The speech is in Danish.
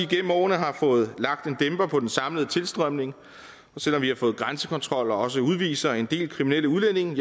gennem årene har fået lagt en dæmper på den samlede tilstrømning og selv om vi har fået grænsekontrol og også udviser en del kriminelle udlændinge